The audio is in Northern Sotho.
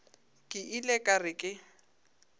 ke ile ka re ke